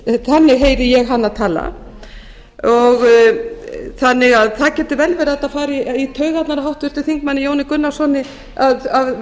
þannig heyri ég hana tala það getur vel verið að þetta fari í taugarnar á háttvirtum þingmanni jóni gunnarssyni að